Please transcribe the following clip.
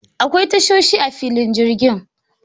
Akwai tashoshi a filin jirgin.